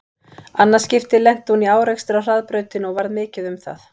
Annað skipti lenti hún í árekstri á hraðbrautinni og varð mikið um það.